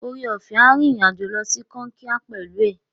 Oreọ̀fẹ́ a rìnrìn-àjò lọ sí Kankia pẹ̀lú ẹ.